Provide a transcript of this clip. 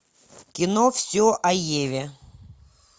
кино все о еве